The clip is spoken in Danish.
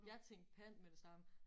Jeg tænkte pant med det samme